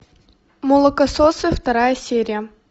молокососы вторая серия